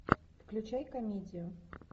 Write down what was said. включай комедию